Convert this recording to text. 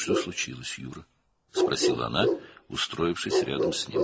"Nə oldu, Yuri?" — o, onun yanında oturaraq soruşdu.